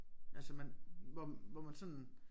Altså man hvor hvor man sådan